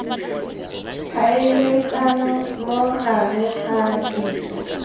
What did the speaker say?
tlhaeletsano mo gareg ga ditso